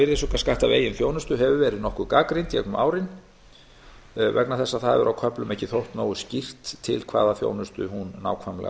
virðisaukaskatti af eigin þjónustu hefur verið nokkuð gagnrýnd gegnum árin vegna þess að á köflum hefur ekki þótt nógu skýrt til hvaða þjónustu hún nákvæmlega ætti